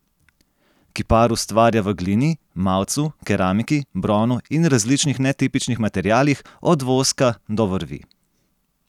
Kipar ustvarja v glini, mavcu, keramiki, bronu in različnih netipičnih materialih, od voska do vrvi.